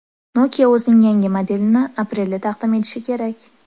Nokia o‘zining yangi modelini aprelda taqdim etishi kerak.